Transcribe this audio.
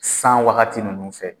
San wagati ninnu fɛ